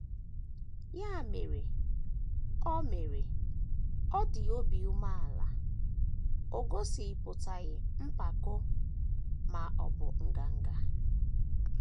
Ya mere, ọ mere, ọ dị obi umeala, o gosipụtaghị mpako, ma ọ bụ nganga.